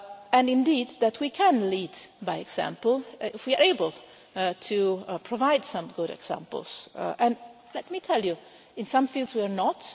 And indeed that we can lead by example, if we are able to provide some good examples and let me tell you in some fields we are not.